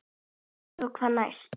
Og svo hvað næst?